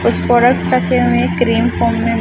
कुछ प्रोडक्ट्स रखे हुए है क्रीम फोम में--